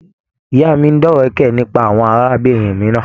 Ìyá mí máa n dọ̀wẹ̀kẹ̀ nípa àwọn arábìnrin mìíràn.